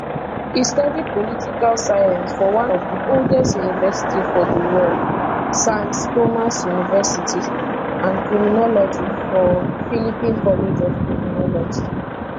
e study political science for one of di oldest university for di world sans thomas university and criminology from philippine college of criminology